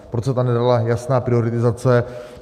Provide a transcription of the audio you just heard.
Proč se tam nedala jasná prioritizace?